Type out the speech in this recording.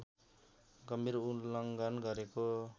गम्भीर उल्लङ्घन गरेको